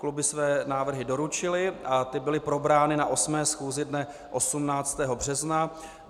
Kluby své návrhy doručily a ty byly probrány na 8. schůzi dne 18. března.